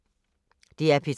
DR P3